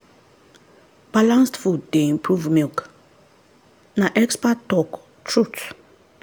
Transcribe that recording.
balanced food dey improve milk na expert talk truth.